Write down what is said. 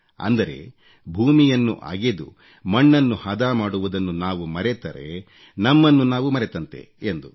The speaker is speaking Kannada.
ಅಂದರೆ ಭೂಮಿಯನ್ನು ಅಗೆದು ಮಣ್ಣನ್ನು ಹದ ಮಾಡುವುದನ್ನು ನಾವು ಮರೆತರೆ ನಮ್ಮನ್ನು ನಾವು ಮರೆತಂತೆ ಎಂದು